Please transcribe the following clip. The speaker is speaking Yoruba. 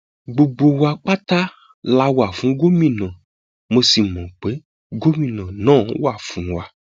gbogbo wa pátá la wà fún gómìnà mo sì mọ pé gómìnà náà wà fún wa